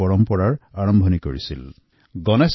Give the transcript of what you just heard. আৰু ই স্বাধীনতাৰ বহু আগৰ পৰাই ইয়াৰ এক প্ৰতীক হৈ পৰিছিল